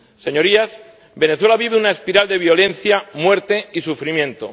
Señorías, Venezuela vive una espiral de violencia, muerte y sufrimiento.